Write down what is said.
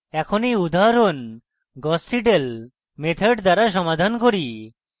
এখন এই উদাহরণ gauss seidel method দ্বারা সমাধান করি